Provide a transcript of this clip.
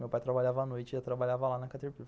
Meu pai trabalhava à noite e eu trabalhava lá na caterpillar.